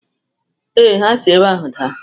Ee, ha si ebe ahụ daa